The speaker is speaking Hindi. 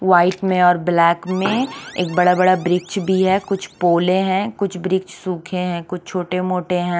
वाइट में एक ब्लेक में एक बड़ा बड़ा ब्रीच भी हे कुछ पोले हे कुछ ब्रीच सूखे हे कुछ छोटे मोटे हैं।